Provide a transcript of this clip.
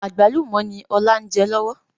Àgbálùmọ̀ ni ọ̀la ń jẹ lọ́wọ́